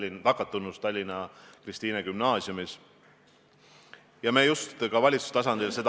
Mina tahan ka siiralt vastu öelda, hea Valdo, et minu soov ja palve on see – ja ma tänan, et Riigikogu juhatus sellega nõustus –, mille ma eile infotunnis välja ütlesin.